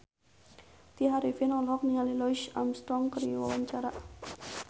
Tya Arifin olohok ningali Louis Armstrong keur diwawancara